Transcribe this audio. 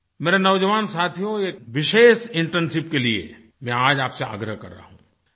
मेरे नौज़वान साथियो एक विशेष इंटर्नशिप के लिए मैं आज आपसे आग्रह कर रहा हूँ